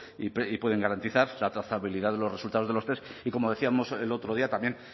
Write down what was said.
y pueden garantizar la trazabilidad de los resultados de los test y como decíamos el otro día también